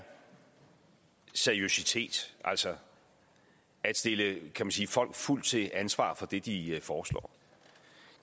seriøsitet altså at stille folk fuldt til ansvar for det de foreslår